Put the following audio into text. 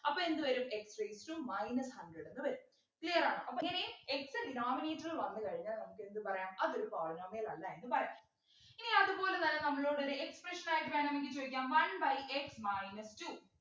അപ്പൊ എന്ത് വരും x raised to minus hundred എന്ന് വരും clear ആണോ അപ്പോ ഇനി x denominator വന്നു കഴിഞ്ഞാൽ നമുക് എന്ത് പറയാം അതൊരു polynomial അല്ല എന്നു പറയാം ഇനി അതുപോലെതന്നെ നമ്മളോട് ഒരു expression ആയിട്ട് വേണമെങ്കിൽ ചോദിക്കാം one by x minus two